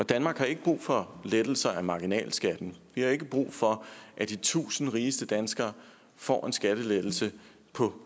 og danmark har ikke brug for lettelser af marginalskatten vi har ikke brug for at de tusind rigeste danskere får en skattelettelse på